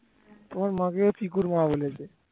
তোমার মাকে পিকুর মা বলেছে।